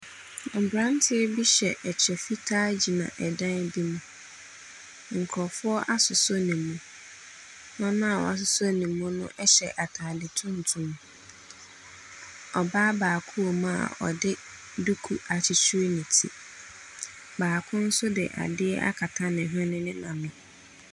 Mberantiɛ bi hyɛ ɛkyɛ fitaa gyina ɛdan bi mu. Nkorɔfoɔ asosɔ ne mu. Wɔn a wasosɔ ne mu no ɛhyɛ ataade tuntum. Ɔbaa baako wɔ mu a ɔde duku akyekyere ne ti. Baako so de ade akata ne hwene ne n'ano.